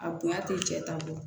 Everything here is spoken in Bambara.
A bonya tɛ cɛ ta bɔ